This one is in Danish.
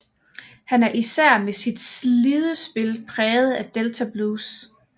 Han er især med sit slidespil præget af delta blues